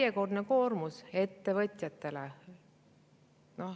Järjekordne koormus ettevõtjatele.